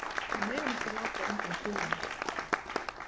Við megum ekki láta undan kúgunum.